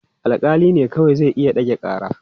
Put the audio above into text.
Alƙali ne kawai zai iya ɗage ƙara.